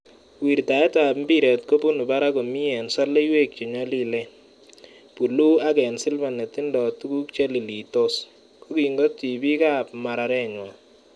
Wirtaet ab imbiret kobun barak komi en soloiwek che nyolilen, buluu aak ne silva netido tuguk cheililitos, kokingot tibik ab mararenywan.